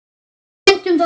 Við fundum það öll.